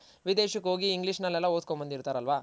ವಿದೇಶಕ್ ಹೋಗಿ English ನಲೆಲ್ಲ ಓದ್ಕೊನ್ ಬಂದಿರ್ತರಲ್ಲವ